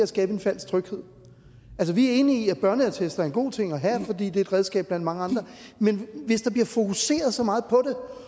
skabe en falsk tryghed vi er enige i at børneattester er en god ting at have fordi det er et redskab blandt mange andre men hvis der bliver fokuseret så meget på